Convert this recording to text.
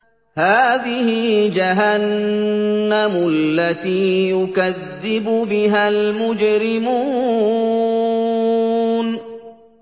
هَٰذِهِ جَهَنَّمُ الَّتِي يُكَذِّبُ بِهَا الْمُجْرِمُونَ